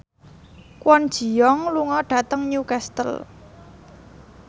Kwon Ji Yong lunga dhateng Newcastle